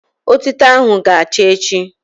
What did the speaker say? Otito ahụ ga-acha echi